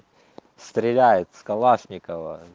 стреляет из калашникова